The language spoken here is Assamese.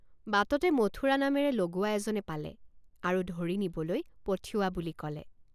বাটতে মথুৰা নামেৰে লগুৱা এজনে পালে আৰু ধৰি নিবলৈ পঠিওৱা বুলি কলে।